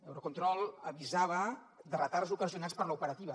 eurocontrol avisava de retards ocasionats per l’operativa